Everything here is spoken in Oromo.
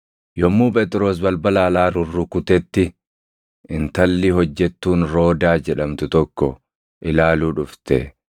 Yommuu Phexros balbala alaa rurrukutetti intalli hojjettuun Roodaa jedhamtu tokko ilaaluu dhufte.